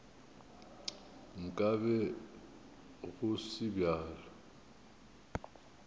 nka be go se bjalo